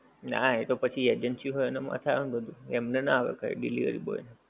ના એ તો પછી agency હોએ એને માથે આવે ને બધું અમને ના આવે કાંઈ delivery boy